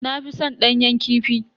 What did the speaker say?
Na fi san danyen kifi.